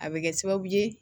A bɛ kɛ sababu ye